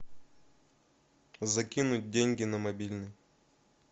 закинуть деньги на мобильный